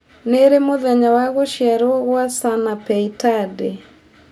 nĩ rĩ mũthenya wa gũcĩarwo gwa Sanapei Tande